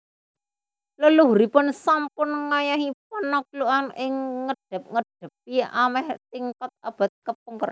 Leluhuripun sampun ngayahi panaklukan ingkang ngédap édapi améh tigang abad kapengker